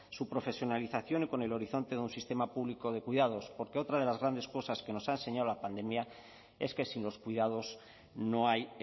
su profesionalización y con el horizonte de un sistema público de cuidados porque otra de las grandes cosas que nos ha enseñado la pandemia es que sin los cuidados no hay